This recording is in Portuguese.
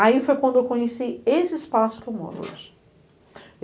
Aí foi quando eu conheci esse espaço que eu moro hoje.